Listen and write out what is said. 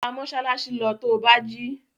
Gba mọ́ṣáláṣí lọ to bá jí!